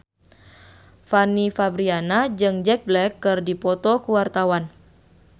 Fanny Fabriana jeung Jack Black keur dipoto ku wartawan